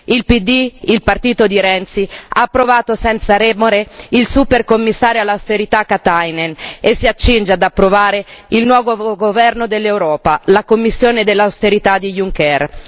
Il PD, il partito di Renzi, ha approvato senza remore il supercommissario all'austerità Katainen e si accinge ad approvare il nuovo governo dell'Europa la Commissione dell'austerità di Juncker.